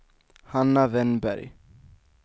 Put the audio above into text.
Hanna Wennberg